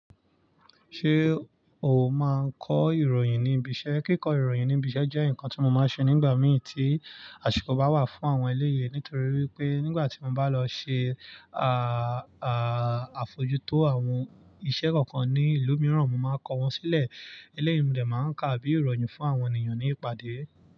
Ṣé o máa ń kọ ìròyìn ní ibi iṣẹ́? Kíkọ ìròyìn ní ibi iṣẹ́ jẹ́ ǹkan tí mo máa ń ṣe nígbà mìí tí àṣikọ bá wà fún àwọn eléyii. Nítorí wípé nígbà tí mo bá lọ ṣe, à à àfojútó àwọn iṣẹ́ kọ̀ọ̀kan ní ìlú mìíràn, mo máa kọ wọ́n sílẹ̀. Eléyii mo de máa ń kà bí ìròyìn fún àwọn ènìyàn ní ìpàdé.